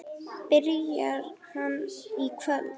Byrjar hann í kvöld?